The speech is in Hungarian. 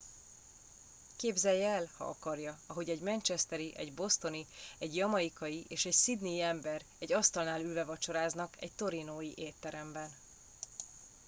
képzelje el ha akarja ahogy egy manchesteri egy bostoni egy jamaicai és egy sydney i ember egy asztalnál ülve vacsoráznak egy torontói étteremben